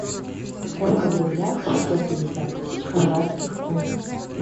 сколько в рублях шестьсот пятьдесят тысяч хорватских кун